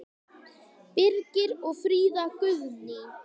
Birgir og Fríða Guðný.